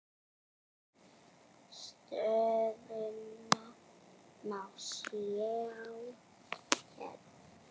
Stöðuna má sjá hérna.